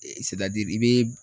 i bɛ